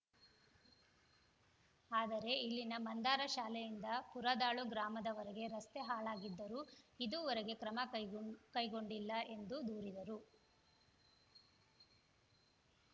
ಆದರೆ ಇಲ್ಲಿನ ಮಂದಾರ ಶಾಲೆಯಿಂದ ಪುರದಾಳು ಗ್ರಾಮದವರೆಗೆ ರಸ್ತೆ ಹಾಳಾಗಿದ್ದರೂ ಇದುವರೆಗು ಕ್ರಮ ಕೈಗೊಂಡು ಕೈಗೊಂಡಿಲ್ಲ ಎಂದು ದೂರಿದರು